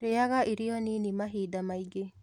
Rĩaga irio nini mahinda maingĩ